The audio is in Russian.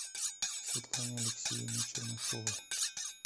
светлане алексеевне чернышевой